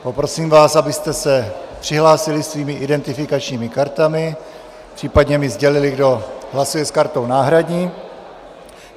Poprosím vás, abyste se přihlásili svými identifikačními kartami, případně mi sdělili, kdo hlasuje s kartou náhradní.